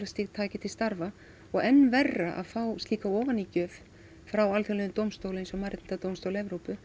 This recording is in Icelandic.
taki til starfa og enn verra að fá slíka ofanígjöf frá alþjóðlegum dómstóli eins og Mannréttindadómstóli Evrópu